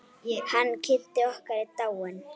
Hann Kiddi okkar er dáinn.